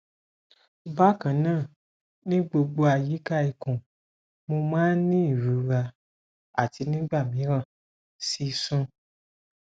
bákan náà ní gbogbo àyíká ikùn mo máa ń ní ìrora àti nígbà mìíràn sísun